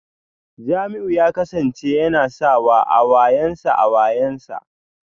Jamiu ya kasance yana sawa a wuyansa a wuyansa